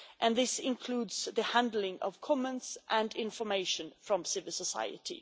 This includes the handling of comments and information from civil society.